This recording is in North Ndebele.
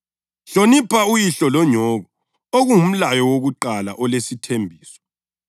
“Hlonipha uyihlo lonyoko,” okungumlayo wakuqala olesithembiso,